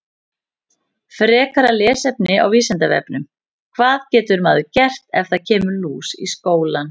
Frekara lesefni á Vísindavefnum: Hvað getur maður gert ef það kemur lús í skólann?